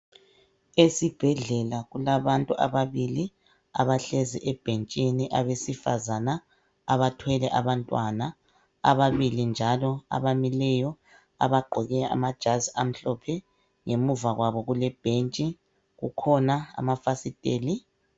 Esibhedlela kulabantu ababili abahlezi ebhentshini abesifazana , abathwele abantwana ababili njalo abamileyo abagqoke amajazi amhlophe ngemuva kwabo kule bhentshi, kukhona amafasiteli.